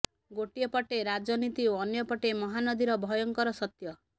ଗୋଟିଏ ପଟେ ରାଜନୀତି ଓ ଅନ୍ୟପଟେ ମହାନଦୀର ଭୟଙ୍କର ସତ୍ୟ